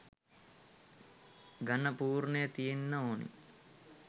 ඝණ පූර්ණය තියෙන්න ඕන.